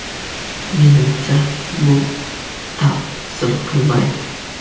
Menimcha, bu ta’sir qilmaydi.